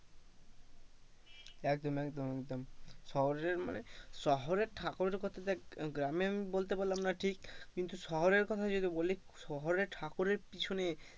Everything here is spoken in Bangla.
একদম একদম একদম শহরের মানে শহররের ঠাকুরের কথা দেখ গ্রামের আমি বলতে পারলাম না ঠিক কিন্তু শহরের কথা যদি আমি বলি, শহররের ঠাকুরের পিছনে,